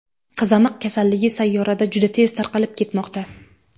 Qizamiq kasalligi sayyorada juda tez tarqalib ketmoqda.